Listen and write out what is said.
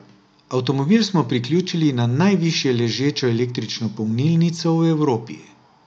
Avtomobil smo priključili na najvišje ležečo električno polnilnico v Evropi.